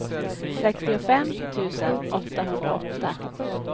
sextiofem tusen åttahundraåtta